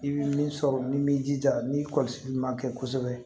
I bɛ min sɔrɔ ni b'i jija ni kɔlɔsili man kɛ kosɛbɛ